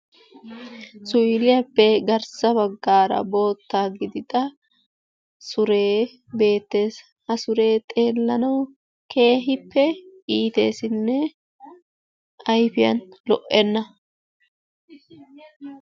Suuyilaappe garssaara baggaara boota giidida suree beettees. ha suree xeellanawu keehippe iiteesinne ayfiyaan lo"enna.